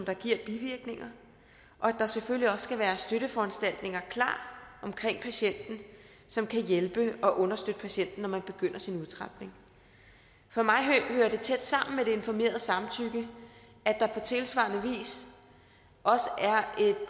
der giver bivirkninger og at der selvfølgelig også skal være støtteforanstaltninger klar omkring patienten som kan hjælpe og understøtte patienten når man begynder sin udtrapning for mig hører det tæt sammen med det informerede samtykke at der på tilsvarende vis også